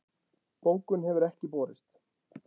Bókun hefur ekki borist